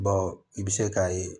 i bɛ se k'a ye